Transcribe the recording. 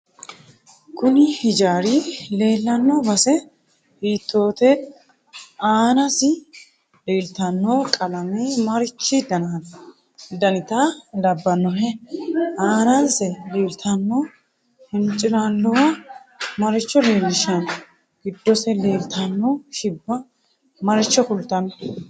Kunni hiijaari leelanno base hiitoote aanasi leeltano qalame marichi danita labbanohe aanse leeltanno hincilaaluwa maricho leelishano giddose leeltano shibba maricho kultano